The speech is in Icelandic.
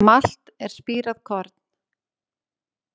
Malt er spírað korn.